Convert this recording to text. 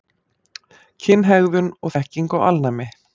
Kynhegðun og þekking á alnæmi.